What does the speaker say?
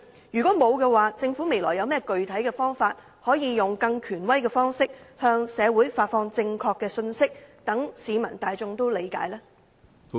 如果沒有，政府未來有甚麼具體方法，用更權威的方式向社會發放正確信息，讓市民大眾理解呢？